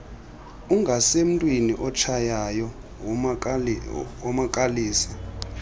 ungasemntwini otshayayo womakalisa